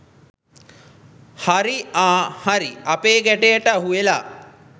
හරී ආ හරී අපේ ගැටයට අහුවෙලා